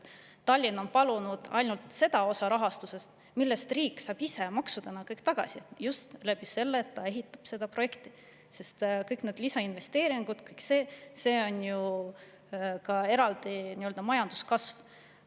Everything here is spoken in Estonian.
Tallinn on palunud ainult seda osa rahastusest, mille riik saab ise maksudena kõik tagasi just seeläbi, et ehitatakse seda, sest kõik need lisainvesteeringud ju ka majanduskasvu.